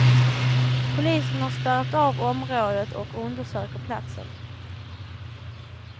Polisen har spärrat av området och undersöker platsen.